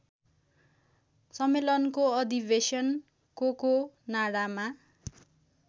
सम्मेलनको अधिवेशन कोकोनाडामा